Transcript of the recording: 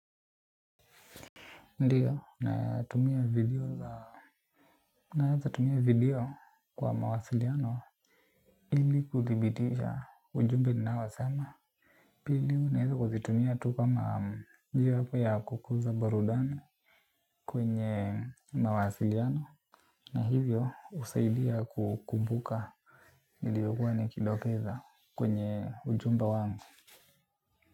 Ndiyo, natumia video za naezatumia video kwa mawasiliano ili kuthibitisha ujumbe ninaosema pili naeza kuzitumia tu kama hiyo hapa ya kukuza barudani kwenye mawasiliano. Na hivyo husaidia kukumbuka ndiyo huwa nikidokeza kwenye ujumbe wangu.